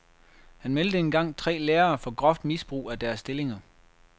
Han meldte engang tre lærere for groft misbrug af deres stillinger.